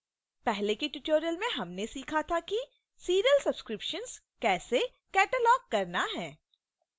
पहले के tutorial में हमने सीखा था कि serial subscriptions कैसे catalog करना है